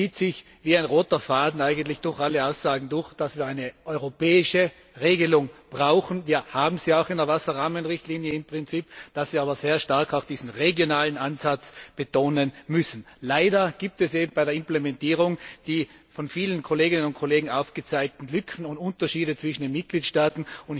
Es zieht sich wie ein roter Faden durch alle Aussagen, dass wir eine europäische Regelung brauchen wir haben sie im Prinzip auch in der Wasser Rahmenrichtlinie dass wir aber sehr stark auch diesen regionalen Ansatz betonen müssen. Leider gibt es eben bei der Implementierung die von vielen Kolleginnen und Kollegen aufgezeigten Lücken und Unterschiede zwischen den Mitgliedstaaten.